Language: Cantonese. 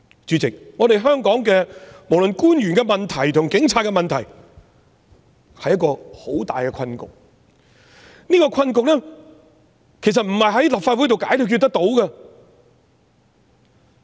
主席，香港無論官員的問題或警察的問題也是很大的困局，這個困局並不能夠在立法會解決。